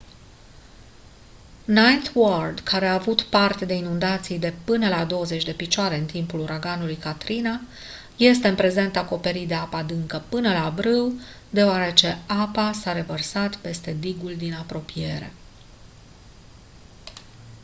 ninth ward care a avut parte de inundații de până la 20 de picioare în timpul uraganului katrina este în prezent acoperit de apă adâncă până la brâu deoarece apa s-a revărsat peste digul din apropiere